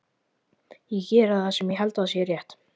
Ég geri það sem ég held að sé rétt.